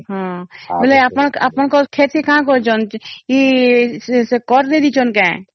ହଁ ବୋଲେ ଅପଣଂକର ଖେତୀ କାହଁ କରିଛନ ଏଇ କର କେ ଦେଇଛନ କେ